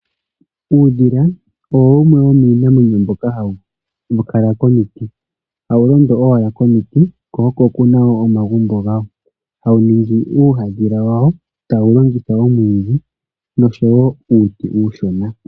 Uudhila owo wumwe womiinamwenyo mbyoka hayi kala komiti. Hawu londo owala komiti ko oko kuna omagumbo gawo, hawu ningi uuhandhila wawo, tawu longitha omwidhi nosho wo uuti uushona.